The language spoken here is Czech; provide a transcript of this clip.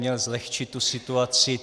Měl zlehčit tu situaci.